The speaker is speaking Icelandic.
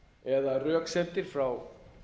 eða röksemdir frá